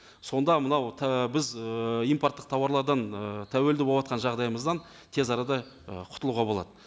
сонда мынау біз ыыы импорттық тауарлардан ыыы тәуелді болыватқан жағдайымыздан тез арада ы құтылуға болады